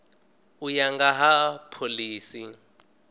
u ya nga ha phoḽisi